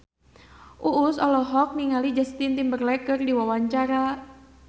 Uus olohok ningali Justin Timberlake keur diwawancara